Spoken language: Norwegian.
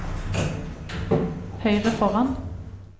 høyre foran